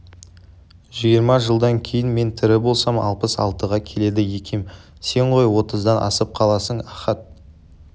жиырма жылдан кейін мен тірі болсам алпыс алтыға келеді екем сен ғой отыздан асып қаласың ахат